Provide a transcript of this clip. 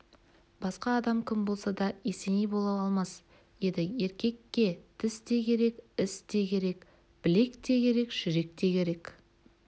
басқа адам кім болса да есеней бола алмас еді еркекке тіс те керек іс те керек білек те керек жүрек те керек